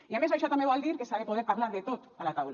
i a més això també vol dir que s’ha de poder parlar de tot a la taula